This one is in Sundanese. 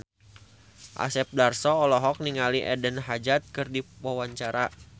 Asep Darso olohok ningali Eden Hazard keur diwawancara